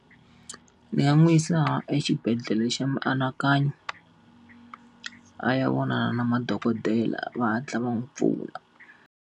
Ni nga n'wi yisa exibedhlele xa mianakanyo, a ya vona na madokodela va hatla va n'wi pfuna.